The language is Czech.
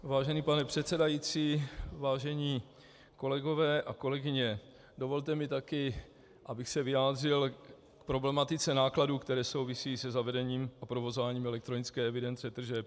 Vážený pane předsedající, vážení kolegové a kolegyně, dovolte mi taky, abych se vyjádřil k problematice nákladů, které souvisejí se zavedením a provozováním elektronické evidence tržeb.